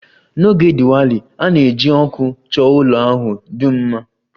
N'oge Diwali, a na-eji ọkụ chọọ ụlọ ahụ dum mma